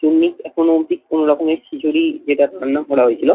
চুন্নি এখনো অব্দি কোন রকমের খিচুড়ি যেটা রান্না করা হয়েছিল